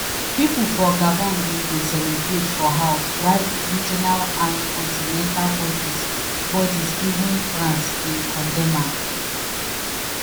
pipo for gabon bin dey celebrate for house while regional and continental bodies bodies even france bin condemn am.